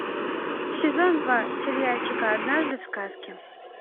сезон два сериальчика однажды в сказке